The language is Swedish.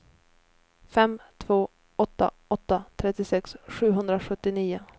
fem två åtta åtta trettiosex sjuhundrasjuttionio